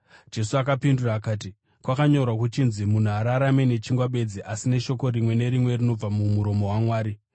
Jesu akapindura akati, “Kwakanyorwa kuchinzi, ‘Munhu haararame nechingwa bedzi, asi neshoko rimwe nerimwe rinobva mumuromo waMwari.’ ”